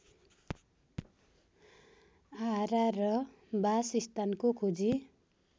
आहारा र बासस्थानको खोजी